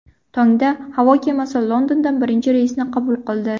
Tongda havo kemasi Londondan birinchi reysni qabul qildi.